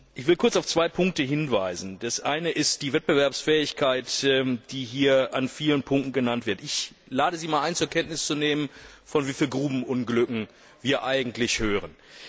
Ich will kurz auf zwei Punkte hinweisen Das eine ist die Wettbewerbsfähigkeit, die hier in vielen Punkten genannt wird. Ich lade Sie einmal ein, zur Kenntnis zu nehmen, von wie vielen Grubenunglücken wir eigentlich hören.